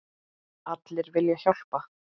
Allir vilja hjálpa.